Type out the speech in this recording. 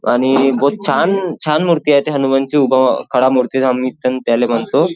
आणि बहोत छान छान मूर्ती आहे हनुमानाची उभा खडा मूर्ती आम्ही त्याले म्हणतो.